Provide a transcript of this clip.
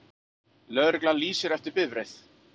Lögregla lýsir eftir bifreið